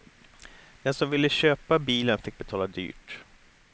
Den som ville köpa bilen fick betala dyrt.